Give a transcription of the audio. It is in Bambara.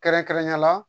Kɛrɛnkɛrɛnnenya la